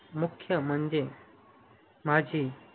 मुख्य म्हणजे माझी